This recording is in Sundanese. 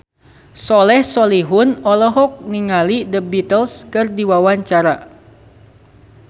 Soleh Solihun olohok ningali The Beatles keur diwawancara